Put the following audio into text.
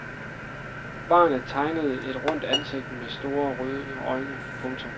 Barnet tegnede et rundt ansigt med store røde øjne. punktum